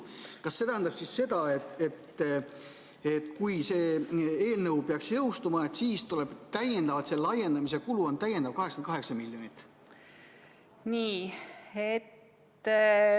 Kas see tähendab seda, et kui see eelnõu peaks jõustuma, siis selle laiendamise kulu on täiendavalt 88 miljonit?